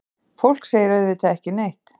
Fólk segir auðvitað ekki neitt.